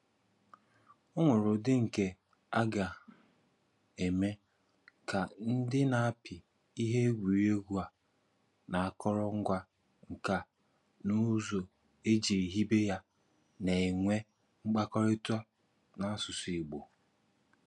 Ọ̀ nwere ùdị̀ nke a ga-eme ka ndị na-apị ihe egwuregwu a na àkòròngwa nka na ùzù́ e ji hibe ya na-enwe mkpáríkọ̀tà n’asụ̀sụ́ Ìgbò.